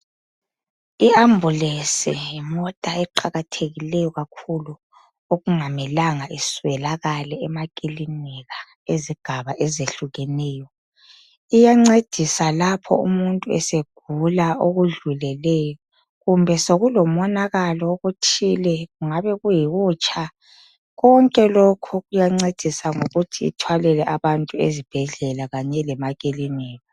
I ambulesi yimota eqakathekileyo kakhulu okungamelanga iswelakale emakilika ezigaba ezehlukeneyo iyancedisa lapho umuntu esegula okudluleleyo, kumbe sokulomonakalo othile kungabe kuyikutsha, konke lokhu iyancedisa ukuthi ithwalele abantu ezibhedlela kanye lemakilinika.